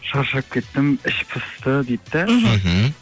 шаршап кеттім іш пысты дейді да мхм